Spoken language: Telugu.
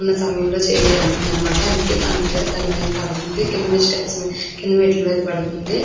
ఉన్న సమయం లో చేయాల్సింది అన్నమాట అందుకే తన నీడ తన మీద పడుతుంది. కింద స్టెప్స్ కింద మెట్లు మీద పడుతుంది.